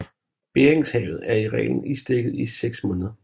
Beringshavet er i reglen isdækket i 6 måneder